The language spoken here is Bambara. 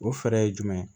O fɛɛrɛ ye jumɛn ye